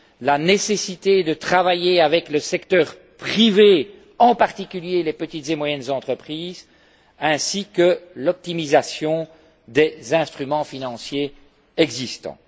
la nécessité de travailler avec le secteur privé, en particulier les petites et moyennes entreprises, ainsi que l'optimisation des instruments financiers existants.